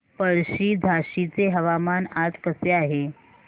पळशी झाशीचे हवामान आज कसे आहे